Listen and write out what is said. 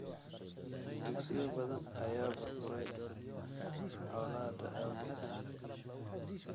Dugsiyo badan ayaa burburay ama burburay colaadda awgeed.